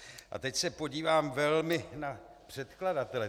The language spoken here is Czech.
A teď se podívám velmi na předkladatele.